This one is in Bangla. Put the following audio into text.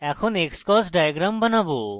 এখন আমরা xcos diagram বানাবো